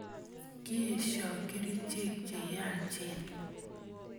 Kieshoi kerichek cheyachen